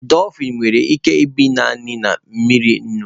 Dolfin nwere ike ibi naanị na mmiri nnu